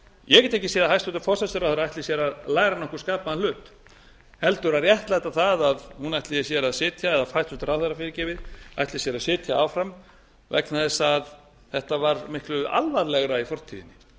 ég get ekki séð að hæstvirtur forsætisráðherra ætli sér að læra nokkurn skapaðan hlut heldur að réttlæta það að hún ætli sér að sitja eða hæstvirtur ráðherra ætli sér að sitja áfram vegna þess að þetta var miklu alvarlegra í fortíðinni